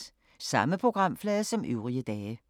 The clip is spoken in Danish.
Samme programflade som øvrige dage